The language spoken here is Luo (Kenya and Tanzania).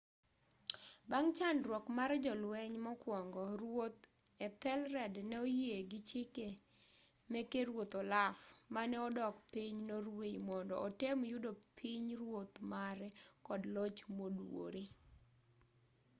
bang' chandruok mar jolueny mokuongo ruoth ethelred ne oyie gi chike meke ruoth olaf mane odok piny norway mondo otem yudo pinyruoth mare kod loch moduwore